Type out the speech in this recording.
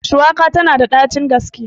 Shuwaka tana da ɗacin gaske.